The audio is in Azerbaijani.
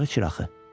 Araq içir axı.